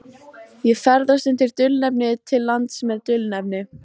Ég ferðast undir dulnefni til lands með dulnefni.